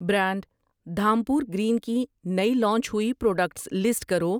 Brand Dhampur green کی نئی launch ہوئی پراڈکٹس لسٹ کرو ؟